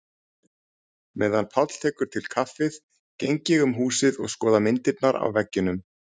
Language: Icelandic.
Meðan Páll tekur til kaffið geng ég um húsið og skoða myndirnar á veggjunum.